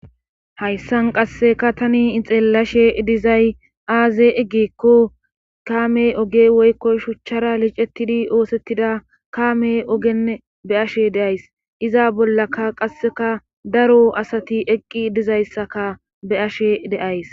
hayssan qasseka tani ixellashe dizay aaze gikko kaame oge woykko shuchchara licetidi oosettida kaame ogenn be ashe deays iza bollaka qasseka daro asati eqqi dizayssaka be ashe deays